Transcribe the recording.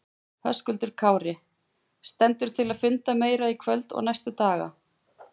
Höskuldur Kári: Stendur til að funda meira í kvöld og næstu daga?